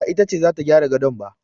Ba ita ce za ta gyara gadon ba